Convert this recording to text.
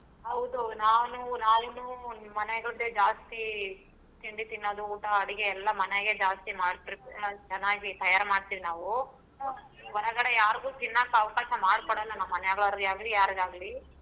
ಹೌದು ಮನೆಯವ್ರ್ ಜಾಸ್ತಿ ತಿಂಡಿ ತಿನ್ನೋದು ಊಟಾ ಅಡ್ಗೆ ಎಲ್ಲಾ ಮನೆಗೆ ಜಾಸ್ತಿ ಚನ್ನಾಗಿ ತಯಾರ್ ಮಾಡ್ತೀವಿ ನಾವು ಹೊರಗಡೆ ಯಾರ್ಗು ತಿನ್ನಾಕ ಅವಕಾಶಾ ಮಾಡಿ ಕೊಡಲ್ಲಾ ನಮ್ ಮಾನ್ಯಾಯವರಿಗಾಗ್ಲಿ ಯಾರಿಗಾಗ್ಲಿ.